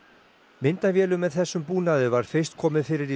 myndavélum með þessum búnaði var fyrst komið fyrir í